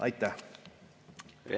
Aitäh!